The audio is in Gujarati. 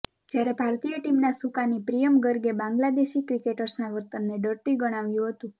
જ્યારે ભારતીય ટીમના સુકાની પ્રિયમ ગર્ગે બાંગ્લાદેશી ક્રિકેટર્સના વર્તનને ડર્ટી ગણાવ્યું હતું